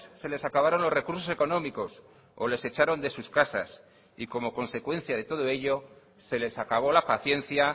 se les acabaron los recursos económicos o les echaron de sus casas y como consecuencia de todo ello se les acabó la paciencia